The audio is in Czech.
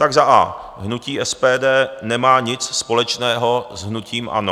Tak za a), hnutí SPD nemá nic společného s hnutím ANO.